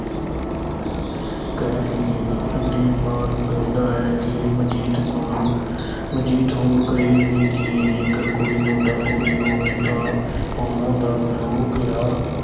ਸੁਖਦੇਵ ਮਾਂ ਨੂੰ ਕਹਿੰਦਾ ਹੈ ਕਿ ਮਨਜੀਤ ਅਹ ਮਨਜੀਤ ਹੋਰ ਕਹੇ ਵੀ ਕੀ। ਜੇਕਰ ਕੋਈ ਮੁੰਡਾ-ਕੁੜੀ ਹੋਵੇ ਤਾਂ ਉਨ੍ਹਾਂ ਦਾ ਪਿਓ ਕਿਹਾ